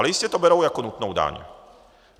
Ale jistě to berou jako nutnou daň.